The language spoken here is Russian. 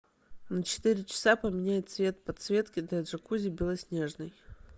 на четыре часа поменяй цвет подсветки для джакузи белоснежный